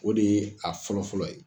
O de ye a fɔlɔfɔlɔ ye.